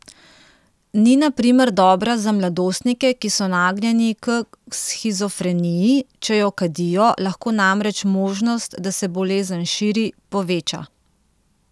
Ni na primer dobra za mladostnike, ki so nagnjeni k shizofreniji, če jo kadijo, lahko namreč možnost, da se bolezen širi, poveča.